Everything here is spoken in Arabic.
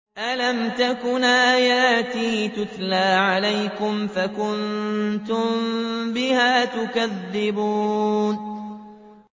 أَلَمْ تَكُنْ آيَاتِي تُتْلَىٰ عَلَيْكُمْ فَكُنتُم بِهَا تُكَذِّبُونَ